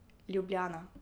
Ljubljana.